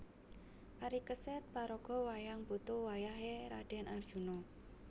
Parikesit paraga wayang putu wayah é Radèn Arjuna